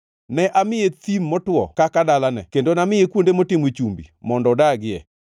Ne amiye thim motwo kaka dalane, kendo namiye kuonde motimo chumbi mondo odagie.